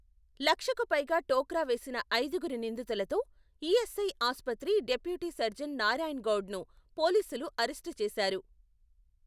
లక్షకుపైగ టోక్రా వేసిన ఐదుగురు నిందితులతో, ఇ.ఎస్.ఐ ఆసుపత్రి డెప్యూటీ సర్జన్ నారాయణ్ గౌడ్ ను, పోలీసులు అరెస్ట్ చేశారు.